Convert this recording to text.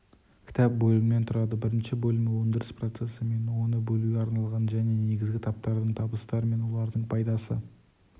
кітап бөлімнен тұрады бірінші бөлімі өндіріс процесі мен оны бөлуге арналған және негізгі таптардың табыстары мен олардың пайдасы